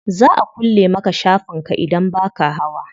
Za a kulle maka shafin ka idan baka hawa.